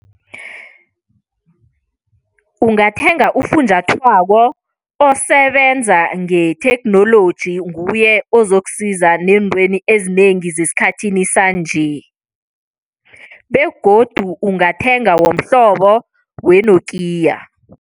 Ungathenga ufunjathwako osebenza ngetheknoloji nguye ozokusiza neentweni ezinengi zesikhathini sanje begodu ungathenga womhlobo wenokiya.